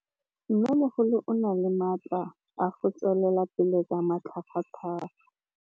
Mmêmogolo o na le matla a go tswelela pele ka matlhagatlhaga.